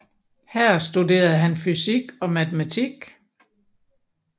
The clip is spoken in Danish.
Her studerede han fysik og matematik